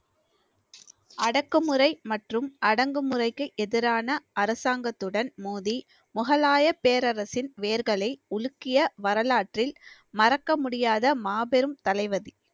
அடக்குமுறை மற்றும் அடங்குமுறைக்கு எதிரான அரசாங்கத்துடன் மோதி முகலாய பேரரசின் வேர்களை உலுக்கிய வரலாற்றில் மறக்க முடியாத மாபெரும் தளபதி